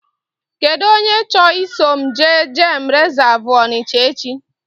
Kedụ onye chọ ị so m jee geem resavu Ọnicha echi?